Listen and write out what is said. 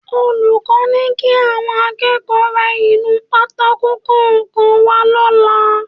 Olùkọ́ ni kí àwọn akẹ́kọ̀ọ́ ra inú pátákò kọ̀ọ̀kan wá lọ́la